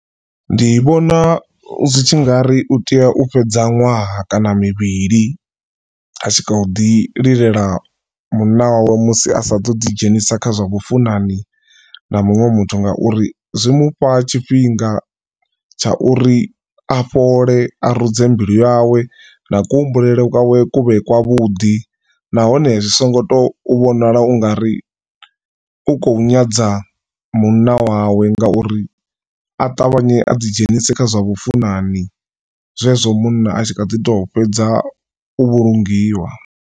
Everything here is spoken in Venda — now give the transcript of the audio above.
Ndi vhona zwi tshi nga ri u tea u fhedza ṅwaha kana mivhili a tshi kho ḓi lilela munna wawe musi asa to ḓi dzhenisa kha zwa vhafunani na muṅwe muthu ngauri zwi mufha tshifhinga tsha uri a fhole a rudze mbilu yawe na kuhumbulele kwawe kuvhe kwa vhuḓi nahone zwi songo to vhonala u nga ri u khou nyadza munna wawe ngauri a ṱavhanye a ḓi dzhenise kha zwa vhafunani zwezwo munna a tshi kha ḓi to fhedza u vhulungiwa.